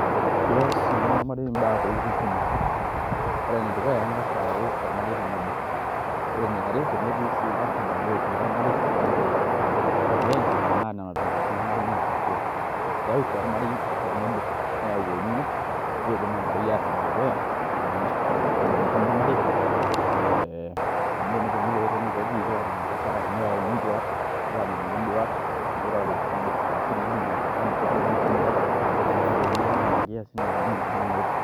Kees entumo ormarei imbaa, ntokitin kumok, ore enedukuya naa keng'as ayau ormarei tenebo ore eniare tenetii sii ilarrabali ootii ormarei arashu oogira iaendelea naa nena tumoreitin ormarei naitatua keyau sii ormarei tenebo neyau olning'o niidim ormarei aashom dukuya ening'o eimu entumo ormarei ee amu teneponunui pee etonii peeji iyie oota makosa arashu neyauni induat nirore nidimi aanoto enkoitoi nabo naikaja narubareki neeku nena nkiasin naata ninye entumo ormarei.